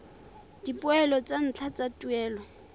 dipoelo tsa ntlha tsa tuelo